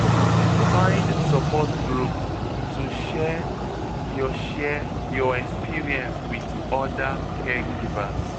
Find support group, to share your share your experience wit oda caregivers.